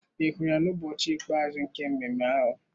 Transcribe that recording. Ị hụrụ ya n'ụbọchị ikpeazụ nke mmemme ahụ?